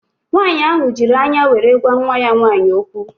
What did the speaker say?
Nwaanyị ahụ jiri anya were gwa nwa ya nwaanyị okwu